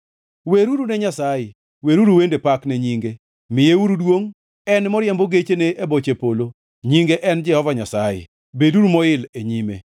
Weruru ne Nyasaye, weruru wende pak ne nyinge, miyeuru duongʼ, En moriembo gechene e boche polo, nyinge en Jehova Nyasaye, beduru moil e nyime.